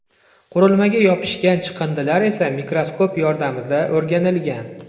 Qurilmaga yopishgan chiqindilar esa mikroskop yordamida o‘rganilgan.